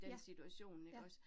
Ja. Ja